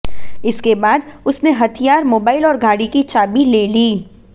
इसके बाद उसने हथियार मोबाइल और गाड़ी की चाबी ले ली